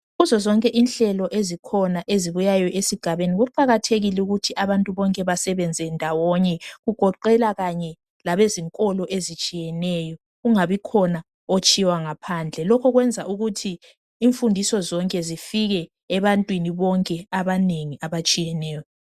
Kuzo zonke inhlelo ezikhona ezibuyayo esigabeni kuqakathekile ukuthi abantu bonke basebenze ndawone, kugoqelwa kanye labezikolo ezitshineyo kungabikhona otshiywa ngaphandle. Lokhu kwenza ukuthi imfundiso zonke zifike ebantwini bonke abanengi abatshiyeneyo.